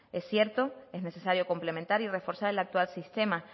es cierto es necesario complementar y reforzar el actual sistema